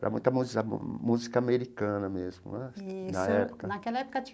Era muita música americana mesmo né, na época.